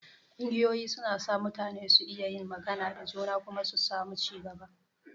Ƙungiyoyi suna sa mutane su iya yin magana da juna kuma su samu ci gaba.